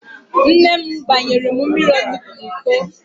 Nne m gbanyere m mmiri onugbo ahụ n'Iko